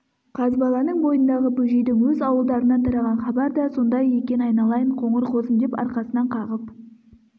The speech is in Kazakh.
қазбаланың бойындағы бөжейдің өз ауылдарынан тараған хабар да сондай екен айналайын қоңыр қозым деп арқасынан қағып